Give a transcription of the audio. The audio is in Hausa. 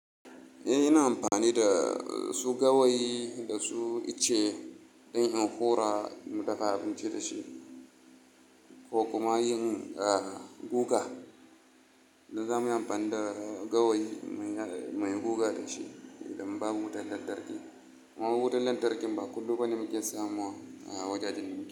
Eh, ina amfani da su gawayi da su ice, ɗanyin hura mu dafa abinci da shi ko kuma yin, guga. Duk zamuyi amfani da gawayi muyi guga da shi idan ba mu wutan lantarki. Man wutan lantarki ba kullum bane muke samu a wajajen mu.